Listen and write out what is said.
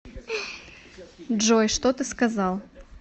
джой что ты сказал